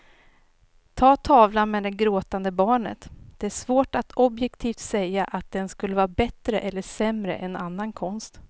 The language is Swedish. Ta tavlan med det gråtande barnet, det är svårt att objektivt säga att den skulle vara bättre eller sämre än annan konst.